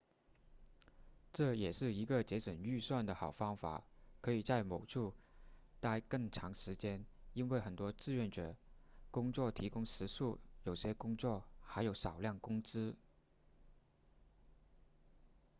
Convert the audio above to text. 这也是一个节省预算的好方法可以在某处待更长时间因为很多志愿者工作提供食宿有些工作还有少量工资